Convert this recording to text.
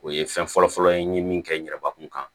O ye fɛn fɔlɔ fɔlɔ ye n ye min kɛ n yɛrɛbakun kan